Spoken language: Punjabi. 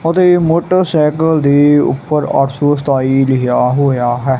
ਉਹਦੇ ਮੋਟਰਸਾਈਕਲ ਦੇ ਉੱਪਰ ਆਠ ਸੋ ਸਤਾਈ ਲਿਖਿਆ ਹੋਇਆ ਹੈ।